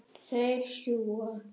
Þeir sjúga.